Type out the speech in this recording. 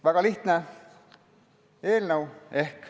Väga lihtne eelnõu.